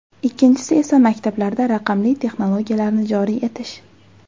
Ikkinchisi esa maktablarda raqamli texnologiyalarni joriy etish.